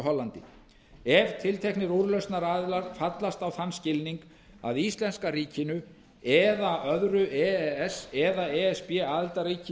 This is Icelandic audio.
hollandi ef tilteknir úrlausnaraðilar fallast á þann skilning að íslenska ríkinu öðru e e s eða e s b aðildarríki